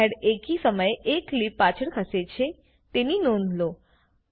frame head એકી સમયે એક ક્લીપ પાછળ ખસે છે તેની નોંધ લો